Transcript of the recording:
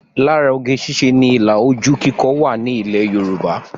Lára oge ṣíṣe ni ilà ojú kíkọ wà ní ilẹ̀ Yorùbá